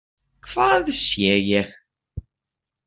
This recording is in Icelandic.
Hvað sé ég?